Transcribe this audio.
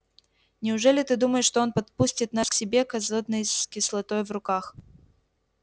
неужели ты думаешь что он подпустит нас к себе к азотной кислотой в руках